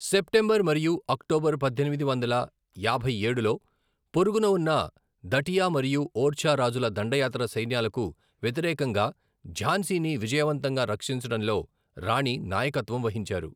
September మరియు October పద్దెనిమిది వందల యాభై ఏడులో, పొరుగున ఉన్న దటియా మరియు ఓర్చా రాజుల దండయాత్ర సైన్యాలకు వ్యతిరేకంగా ఝాన్సీని విజయవంతంగా రక్షించడంలో రాణి నాయకత్వం వహించారు.